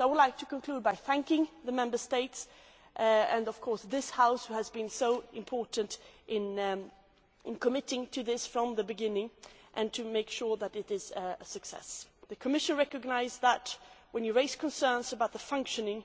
I would like to conclude by thanking the Member States and of course this House, which has been so important in committing to this from the beginning and ensuring that it is a success. The Commission recognises that, when you raise concerns about the functioning